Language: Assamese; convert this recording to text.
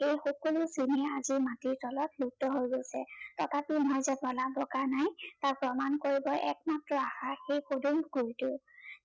সেই সকলোখিনি আজি মাটিৰ তলত লুপ্ত হৈ গৈছে। তথাপি মই যে প্ৰলাপ বকা নাই, তাক প্ৰমাণ কৰিবৰ একমাত্ৰ আশা সেই পদুম পুখুৰীটো,